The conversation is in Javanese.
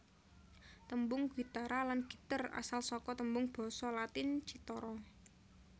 Tembung guitarra lan gitter asal saka tembung Basa Latin cithara